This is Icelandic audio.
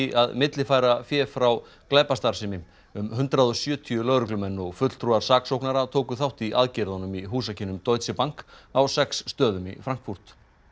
að millifæra fé frá glæpastarfsemi um hundrað og sjötíu lögreglumenn og fulltrúar saksóknara tóku þátt í aðgerðunum í húsakynnum Deutsche Bank á sex stöðum í Frankfurt